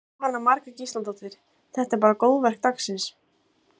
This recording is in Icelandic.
Jóhanna Margrét Gísladóttir: Þetta er bara góðverk dagsins?